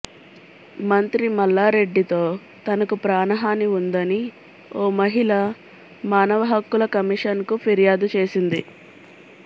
మంత్రి మల్లారెడ్డితో తనకు ప్రాణహాని ఉందని ఓ మహిళ మానవ హక్కుల కమిషన్కు ఫిర్యాదు చేసింది